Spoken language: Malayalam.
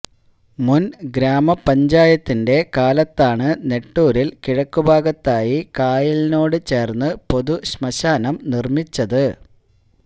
മുന് ഗ്രാമപഞ്ചായത്തിന്റെ കാലത്താണ് നെട്ടൂരില് കിഴക്കുഭാഗത്തായി കായലിനോട് ചേര്ന്ന് പൊതുശ്മശാനം നിര്മിച്ചത്